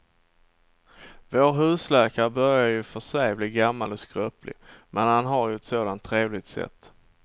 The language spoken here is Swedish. Vår husläkare börjar i och för sig bli gammal och skröplig, men han har ju ett sådant trevligt sätt!